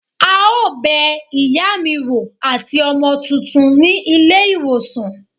a o bè iyá mí woo atí ọmọ túntún ní ilé iwosàn.